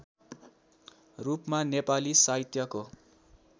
रूपमा नेपाली साहित्यको